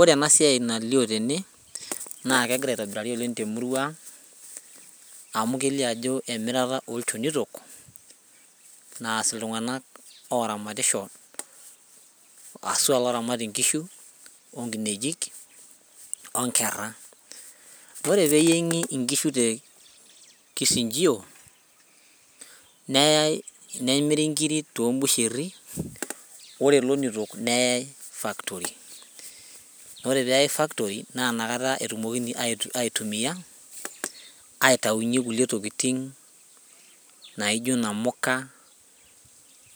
Ore ena siai nalio tene naa kegira aitobirari oleng temurua ang amu kelio ajo emirata olchonitok naas iltung'anak oramatisho aswa loramat inkishu onkinejik onkerra ore peyieng'i inkishu te kichinjio neyai nemiri inkiri tombusherri ore ilonito neyai factory ore peyai factory naa inakata etumokini ait aitumia aitaunyie kulie tokiting naijo inamuka